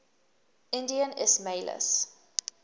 indian ismailis